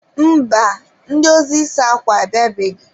Mba, ndị ozi ịsa akwa abịabeghị.